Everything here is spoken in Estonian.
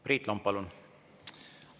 Priit Lomp, palun!